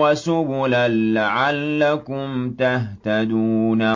وَسُبُلًا لَّعَلَّكُمْ تَهْتَدُونَ